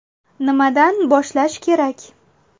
Nimadan boshlash kerak?